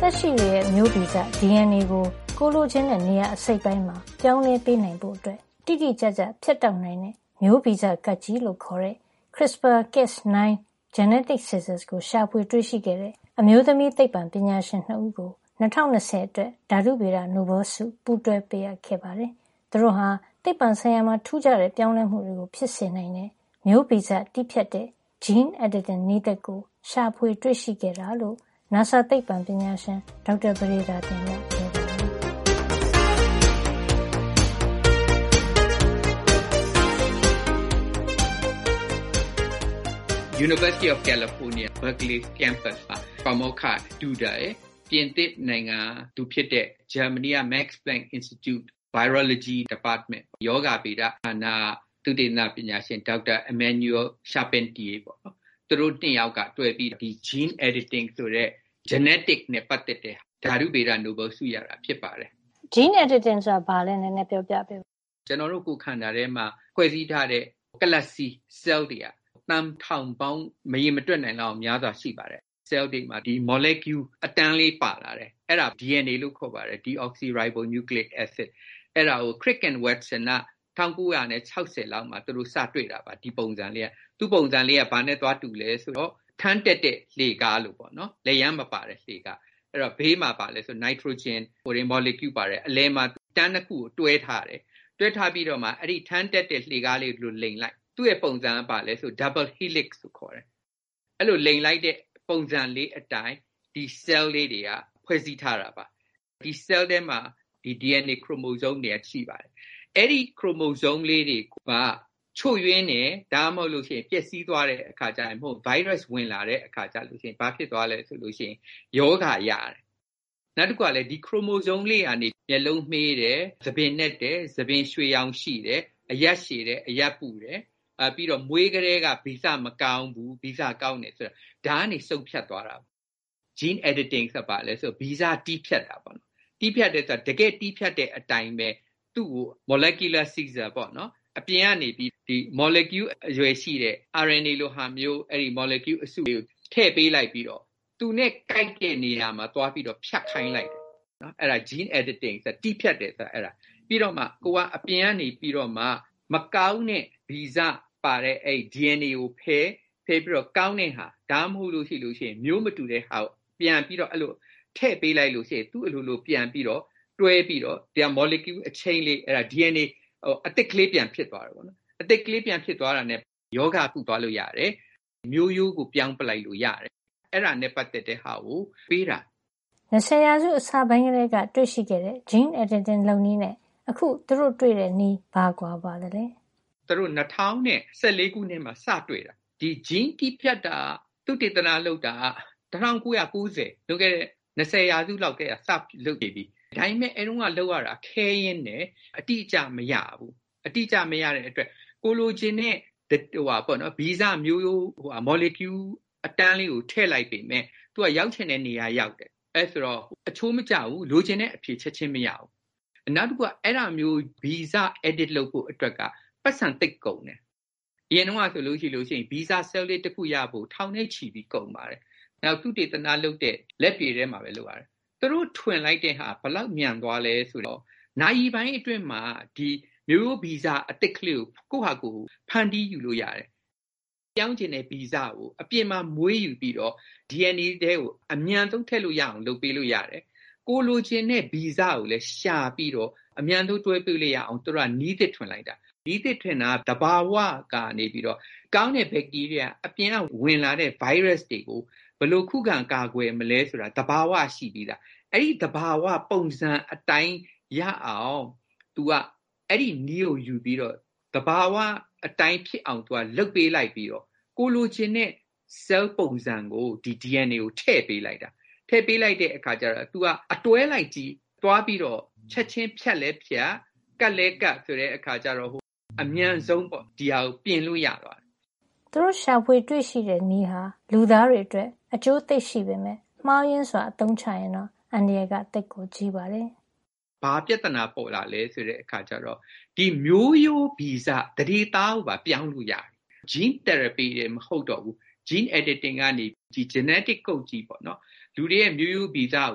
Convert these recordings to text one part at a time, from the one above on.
သက်ရှိတွေရဲ့ မျိုးဗီဇ DNA ကို ကိုယ်လိုချင်တဲ့ နေရာအစိတ်အပိုင်းမှာ ပြောင်းလဲပေးနိုင်ဖို့ တိတိကျကျ ဖြတ်တောက်နိုင်တဲ့ မျိုးဗီဇကပ်ကျေး လို့ခေါ်တဲ့ Crispr-Cas9 "genetic scissors" ကို ရှာဖွေတွေ့ရှိခဲ့တဲ့ အမျိးသမီးသိပ္ပံပညာရှင် ၂ ဦးကို ၂၀၂၀ အတွက် ဓါတုဗေဒ နိုဘယ်ဆု ပူးတွဲ ပေးအပ်ခဲ့ ပါတယ်။ သူတို့ဟာ သိပ္ပံဆိုင်ရာမှာ ထူးခြားတဲ့ ပြောင်းလဲမှုတွေကို ဖြစ်စေနိုင်တဲ့ မျိုးဗီဇတည်းဖြတ်တဲ့ gene editing နည်းသစ်ကို ရှာဖွေတွေ့ရှိတာလို့ နာဆာ သိပ္ပံပညာရှင် ဒေါက်တာ ပဒေသာတင်က ပြောပါတယ်။ “ကယ်လီဖိုးနီးယား တက္ကသိုလ် Berkeley က က ပါမောက္ခ Jennifer Doudna ရယ် ပြင်သစ်နိုင်ငံသူ ဖြစ်တဲ့ ဂျာမဏီက ရောဂါဗေဒဌာနက သုတေသနပညာရှင် ဒေါက်တာ Emmanuelle Charpentier သူတို့ ၂ ယောက်တွဲပြီး gene editing ဆိုတဲ့ မျိုးဗီဇ နဲ့ပတ်သက်တဲ့ ဓါတုဗေဒ နိုဘဲလ်ဆု ရတာဖြစ်ပါတယ်။” “gene editing ဆိုတာ ဘာလဲပြောပြပေးပါ။” “ကျနော်တို့ ကိုယ်ခန္ဓာထဲမှာ ဖွဲ့စည်းထားတဲ့ ကလပ်စည်း ဆဲလ်တွေက သန်း ထောင်ပေါင်း မရေမတွက်နိုင်အောင် များစွာ ရှိပါတယ်။ ဆဲလ် တွေမှာ မော်လီကျူးး အတန်းလေးပါလာတယ်။ အဲဒါကို DNA လို့ခေါ်ပါတယ်။ deoxyribonucleic acid ။ အဲဒါကို Francis Crick နဲ့ James Watson တို့က ၁၉ ၆၀ လောက်မှာ စတွေ့တာပါ။ ဒီပုံစံလေးက။ သူ့ပုံစံလေးက ဘာနဲ့ သွားတူ သလဲ ဆိုတော့ ထန်းတက်တဲ့ လှေကားလို ပေါ့နော်။ လက်ရမ်းမပါတဲ့ လှေကားလေးနဲ့ တူတယ်။ ဘေးမှာက ဘာလဲ ဆိုတော့ နိုက်ထရိုဂျင် မော်လီကျူး ပါတယ်။ အဲဒီ ၂ ခုကို အလယ်မှာ တွဲထားတယ်။ အဲဒီ လှေကားပုံလေးကို လိမ်လိုက်ရင် သူ့ပုံစံက double helix လို့ခေါ်တယ်။ ၂ ပင်လိမ်နေတဲ့ အနေထား။ အဲဒီလို လိမ်လိုက်တဲ့ ပုံစံလေး အတိုင်း ဒီဆဲလ်လေးတွေက ဖွဲ့စည်း ထားတာပါ။ ဒီ ဆဲလ် ထဲမှာ DNA chromosome တွေက ရှိပါတယ်။ အဲဒီ ခရိုမိုစုန်း ကလေးတွေက ချို့ယွင်းသွားတယ်။ ပျက်စီးသွားတယ် ဆိုလို့ရှိရင် ဒါမှမဟုတ် ဗိုင်းရပ်စ် ဝင်လာတဲ့ အခါကျရင် ရောဂါရတယ်။ နောက် တခုကလည်း ဒီခရိုမိုစုန်း ကလေးတွေကနေ၊ မျက်လုံးမှေးတယ်၊ ဆံပင်နက်တယ်၊ ဆံပင် ရွှေရောင်ရှိတယ်။ အရပ်ရှည်တယ်။ အရပ်ပုတယ်။ နောက်မွေးကတည်းက ဗီဇ မကောင်းဘူး။ဗီဇ ကောင်းတယ် ဆိုတာက ဒါကနေ ဆုံးဖြတ်သွားတာပါ။ gene editing ဆိုတာက ဘာလဲ ဆိုတော့ ဗီဇ တည်းဖြတ်တာ ပေါ့နော်။ တည်းဖြတ်တယ် ဆိုတာ တကယ့်တည်းဖြတ်တဲ့ အတိုင်းပဲ သူ့ကို မော်လီကျူး ကပ်ကျေး - molecular scissors - အပြင်ကနေပြီး မော်လီကျူး အရွယ်ရှိတဲ့ RNA လို မော်လီကျူး အစုလေးကို ထည့်ပေးလိုက်ပြီးတော့ သူနဲ့ ကိုက်တဲ့ နေရာမှာ သွားပြီးတော့ ဖြတ်ခိုင်းလိုက်တာ။ အဲဒါ gene editing တည်းဖြတ်တယ်ဆိုတာပါ။ ပြီးတော့မှ အပြင်ကနေပြီးတော့မှ မကောင်းတဲ့ ဗီဇ ပါတဲ့ DNA ကိုဖယ်၊ ပြီးတော့ ကောင်းတဲ့ဟာ ဒါမှမဟုတ် မျိုး မတူတဲ့ဟာကို ပြန်ပြီးတော့ ထည့်ပေးလိုက်လို့ ရှိရင် သူ့ အလိုလို ပြန်တွဲပြီးတော့ မော်လီကျူး chain လေး အဲဒါ DNA အသစ်ကလေး ပြန်ဖြစ်သွားတယ်။ အဲဒီလို အသစ်ကလေး ပြန်ဖြစ်သွားတာနဲ့ ရောဂါကုသွားလို့ရတယ်။ မျိုးရိုးကို ပြောင်းပစ်လိုက်လို့ ရတယ်။ အဲဒါနဲ့ ပတ်သက်တာကို နိုဘဲလ်ဆု ပေးတာပါ။” “၂၀ ရာစု အစပိုင်းကတည်းက တွေ့ရှိခဲ့တဲ့ gene editing လုပ်နည်းနဲ့ အခု သူတို့တွေ့တဲ့ နည်း ဘာကွာပါသလဲ။ “သူတို့ ဒါကို ၂၀၁၄ ခုနှစ်မှာ စတွေ့တာပါ။ ဒီ ဗီဇ gene တည်းဖြတ်တာကို သုတေသနလုပ်တာက ၁၉ ၉ ၀ လွန်ခဲ့တဲ့ ၂၀ ရာစုလောက်ကတည်းက စလုပ်နေပြီ။ ဒါပေမယ့် အဲဒီတုန်းက လုပ်ရတာ ခဲယဉ်းတယ်။ အတိအကျ မရဘူး။ အတိအကျ မရတဲ့ အတွက် ကိုယ်လိုချင်တဲ့၊ ဗီဇ မျိုးရိုး၊ မော်လီကျူးအတန်ူလေးကို ထည့်လိုက်ပေမယ့် သူက ရောက်ချင်တဲ့ နေရာ ရောက်တယ်။ အဲလိုဆိုတော့ အချိုးမကျဘူး။ လိုချင်တဲ့ အဖြေ ချက်ချင်း မရဘူး။ နောက်တခုက အဲဒီလိုမျိုး ဗီဇကို တည်းဖြတ်ဖို့ အတွက် ပိုက်ဆံသိပ်ကုန်တယ်။ အရင်တုန်းကဆို ဗီဇဆဲလ်လေး တခု ရဖို့ ထောင်နဲ့ချီပြီး ကုန်ပါတယ်။ နောက် သုတေသနလုပ်တဲ့ ဓါတ်ခွဲခန်း တွေမှာပဲ လုပ်ရတယ်။ သူတို့ထွင်လိုက်တဲ့ဟာက ဘယ်လောက် မြန်သွားသလဲ ဆိုတော့ နာရီပိုင်း အတွင်းမှာ မျိုးရိုးဗီဇ အသစ်ကလေးကို ကိုယ့်ဟာကိုယ် ဖန်တီးယူလို့ရတယ်။ ပြောင်းချင်တဲ့ ဗီဇကို အပြင်မှာ မွေးယူပြီးတော့ DNA ထဲကို အမြန်ဆုံး ထည့်လို့ရအောင် လုပ်ပေးလို့ ရတယ်။ ကိုယ်လိုချင်တဲ့ ဗီဇကိုလည်း ရှာပြီးတော့ အမြန်ဆုံး တွဲပေးလို့ရအောင် သူတို့က နည်းသစ် ထွင်လိုက်တာ။ သူတို့ထွင်တာက သဘာဝ ကနေပြီးတော့ အပြင်က ဝင်လာတဲ့ ဗိုင်းရပ်စ်တွေကို ဘယ်လိုခုခံ ကာကွယ်မလဲ ဆိုတာ သဘာဝက ရှိပြီးသား။ အဲဒီ သဘာဝ ပုံစံ အတိုင်း ရအောင် သူက အဲဒီနည်းကိုယူပြီးတော့ သဘာဝ အတိုင်း ဖြစ်အောင် လုပ်ပေးလိုက်ပြီးတော့ ကိုယ်လိုချင်တဲ့ ဆဲလ်ပုံစံကို DNA ကို သူက ထည့်ပေးလိုက်တာ။ အဲဒီအခါ သူက အတွဲလိုက်ကြီး ချက်ချင်း သွားပြီးတော့ ဖြတ်လည်းဖြတ်၊ ကပ်လည်းကပ် ဆိုတော့ အမြန်ဆုံးပေါ့ သူတို့ ပြင်လို့ ရသွားတာပါ။ “သူတို့ရှာဖွေတွေ့ရှိတဲ့ နည်းဟာ လူသားတွေ အတွက် အကျိုးသိပ်ရှိပေမယ့် မှားယွင်းစွာ အသုံးချရင်တော့ အန္တရာယ်က သိပ်ကြီးပါတယ်။ “ဘာပြဿနာ ပေါ်လာလည်း ဆိုတော့ မျိုးရိုးဗီဇ သန္ဓေသားကိုပါ ပြောင်းလို့ ရတယ်။ gene tharapy တင်မဟုတ်တော့ဘူး။ gene editing ကနေ genetic code ကြီး ပေါ့နော်။ လူတွေရဲ့ မျိုးရိုးဗီဇကို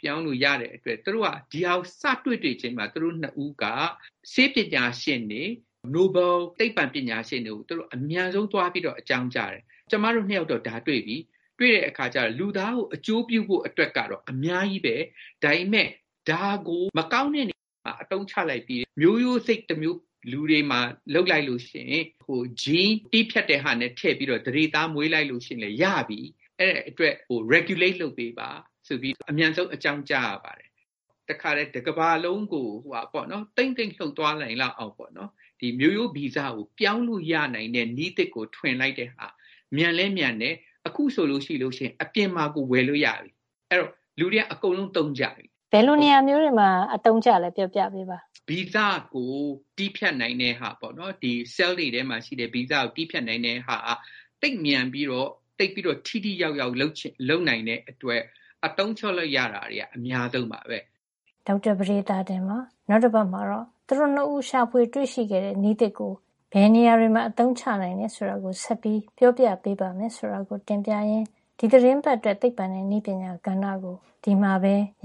ပြောင်းလို့ရတဲ့ အတွက် သူတို့က ဒီဟာကို စတွေ့တွေ့ချင်းမှာ သူတို့ ၂ ဦးက ဆေးပညာရှင်တွေ၊ နိုဘဲလ်သိပ္ပံပညာရှင်တွေကို သူတို့က အမြန်ဆုံးသွားပြီးတော့ အကြောင်းကြားတယ်။ ကျမတို့ ၂ ယောက်တော့ ဒါတွေ့ပြီ။ တွေ့တဲ့ အခါကျတော့ လူသားကို အကျိုးပြုဖို့ အတွက်ကတော့ အများကြီးပဲ။ ဒါပေမဲ့ ဒါကို မကောင်းတဲ့ သူက အသုံးချလိုက်ပြီး မျိုးရိုးစိတ်တမျိုး လူတွေမှာ လုပ်လိုက်လို့ ရှိရင် - gene တည်းဖြတ်တဲ့ ဟာနဲ့ထည့်ပြီး မွေးလိုက်လို့ရှိရင်လည်း ရပြီ။ အဲဒါအတွက်ကို regulate လုပ်ပေးပါ ဆိုပြီး အမြန်ဆုံး အကြောင်းကြားရပါတယ်။ တခါတည်း တကမ္ဘာလုံးကို သိမ့်သိမ့် လှုပ်သွား နိုင်လောင်အောင်ပေါ့နော်၊ မျိုးရိုးဗီဇကို ပြောင်းလို့ရနိုင်တဲ့ နည်းသစ်ကို ထွင်လိုက်တဲ့ဟာ၊ မြန်လည်မြန်တယ်။ အခုဆို အပြင်မှာကို ဝယ်လို့ရပြီ။ အဲဒီတော့ လူတေူွက အကုန်လုံး သုံးကြပြီ။” “ဘယ်လိုနေရာမျိုးတွေမှာ အသုံးကျလည်း ပြောပြပေးပါ။” “ဗီဇကို တည်းဖြတ်နိုင်တဲ့ဟာ ပေါ့နော်။ ဒီဆဲလ်တွေထဲမှာ ရှိတဲ့ ဗီဇကိုတည်းဖြတ် နိုင်တဲ့ဟာက သိပ်မြန်ပြီးတော့ သိပ်ပြီးထိထိရောက်ရောက် လုပ်နိုင်တဲ့အတွက် အသုံးချလို့ရတာက အများကြီးပါပဲ။” ဒေါက်တာပဒေသာတင်ပါ။ နောက်တပတ်မှာတော့ သူတို့ ၂ ဦး ရှာဖွေတွေ့ရှိခဲ့တဲ့ နည်းသစ်ကို ဘယ်နေရာ တွေမှာအသုံးချနိုင်တယ် ဆိုတာကို ဆက်ပြီးပြောပြပေးပါမယ်ဆိုတာ တင်ပြရင်း ဒီသီတင်းပတ်အတွက် သိပ္ပွံနဲ့ နည်းပညာ ကဏ္ဍကို ဒီမှာပဲ ရ